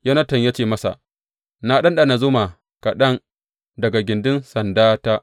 Yonatan ya ce masa, Na ɗanɗana zuma kaɗan daga gindin sandanta.